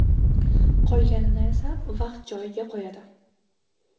Qolganini esa vaqt joy-joyiga qo‘yadi.